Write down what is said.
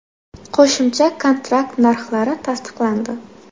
Qo‘shimcha kontrakt narxlari tasdiqlandi.